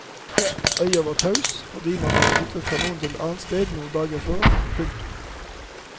Øya var taus fordi man hadde flyttet kanonene et annet sted noen dager før. punktum